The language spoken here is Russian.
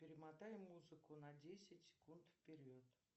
перемотай музыку на десять секунд вперед